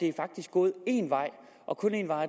gået én vej og kun én vej